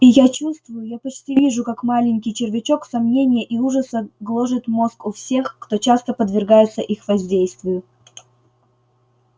и я чувствую я почти вижу как маленький червячок сомнения и ужаса гложет мозг у всех кто часто подвергается их воздействию